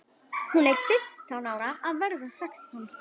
Hún er fimmtán ára að verða sextán.